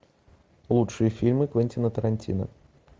лучшие фильмы квентина тарантино